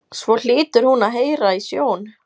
Svo hlýtur hún að heyra í sjón